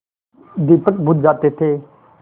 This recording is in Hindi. दीपक बुझ जाते थे